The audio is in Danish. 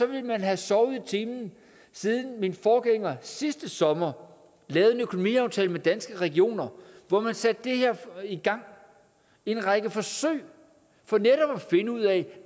vil man have sovet i timen siden min forgænger sidste sommer lavede en økonomiaftale med danske regioner hvor man satte det her i gang en række forsøg for netop at finde ud af